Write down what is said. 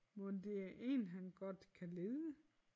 Mon det er én han godt kan lide